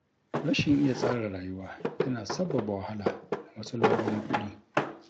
Rashin iya tsara rayuwa yana sabbaba wahala da matsaloli na kuɗi.